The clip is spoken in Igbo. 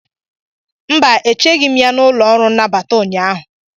mba, echeghị m ya n'ụlọ ọrụ nnabata ụnyaahụ